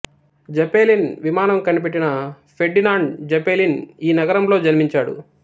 Zeppelin విమానం కనిపెట్టిన Ferdinand Zeppelin ఈ నగరంలో జన్మించాడు